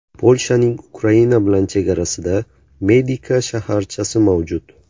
Polshaning Ukraina bilan chegarasida Medika shaharchasi mavjud.